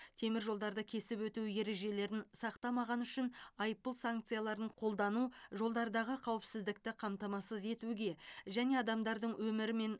темір жолдарды кесіп өту ережелерін сақтамағаны үшін айыппұл санкцияларын қолдану жолдардағы қауіпсіздікті қамтамасыз етуге және адамдардың өмірі мен